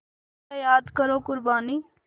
ज़रा याद करो क़ुरबानी